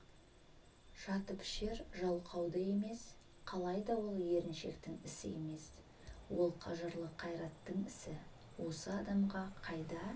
жатыпішер жалқау да емес қалайда ол еріншектің ісі емес ол қажырлы қайраттың ісі осы адамға қайда